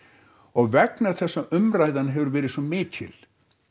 og vegna þess að umræðan hefur verið svo mikil